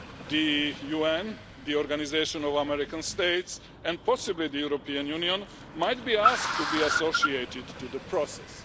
The UN, the Organisation of American States and possibly the European Union might be asked to be involved in the process.